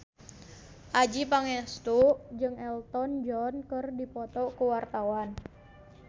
Adjie Pangestu jeung Elton John keur dipoto ku wartawan